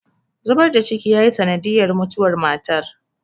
zubar da ciki yayi sanadiyar mutuwar matar